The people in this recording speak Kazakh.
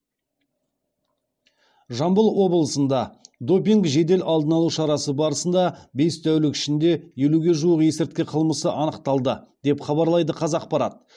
жамбыл облысында допинг жедел алдын алу шарасы барысында бес тәулік ішінде елуге жуық есірткі қылмысы анықталды деп хабарлайды қазақпарат